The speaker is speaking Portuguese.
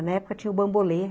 Na época tinha o bambolê.